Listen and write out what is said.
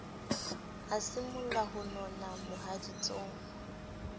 a simolla ho nona mohaditsong